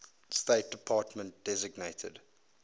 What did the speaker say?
state department designated